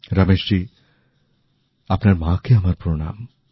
রমেশজী আপনার মাকে আমার প্রণাম